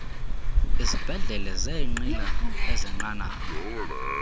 izibhedlele zeenqila ezenqanaba